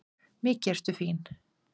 Mikið ertu fín!